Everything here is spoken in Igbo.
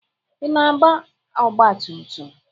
Ị na-agba ọgba tum tum?